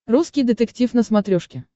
русский детектив на смотрешке